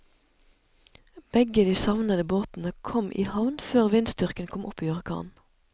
Begge de savnede båtene kom i havn før vindstyrken kom opp i orkan.